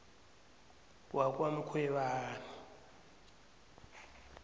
wakwamkhwebani